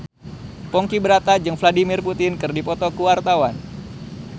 Ponky Brata jeung Vladimir Putin keur dipoto ku wartawan